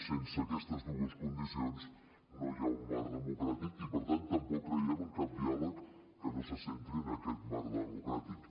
sense aquestes dues condicions no hi ha un marc democràtic i per tant tampoc creiem en cap diàleg que no se centri en aquest marc democràtic